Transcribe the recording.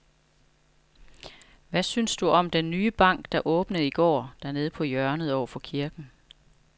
Hvad synes du om den nye bank, der åbnede i går dernede på hjørnet over for kirken?